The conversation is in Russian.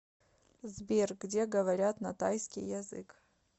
сбер где говорят на тайский язык